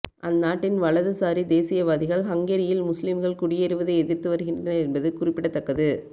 அந்நாட்டின் வலதுசாரி தேசியவாதிகள் ஹங்கேரியில் முஸ்லீம்கள் குடியேறுவதை எதிர்த்து வருகின்றனர் என்பது குறிப்பிடத்தக்கது